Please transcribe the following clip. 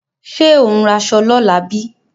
Ṣé ò ń raṣọ lọ́la bí?